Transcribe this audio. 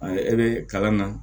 e bɛ kalan na